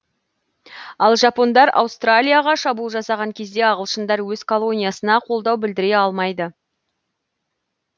ал жапондар аустралияға шабуыл жасаған кезде ағылшындар өз колониясына қолдау білдіре алмайды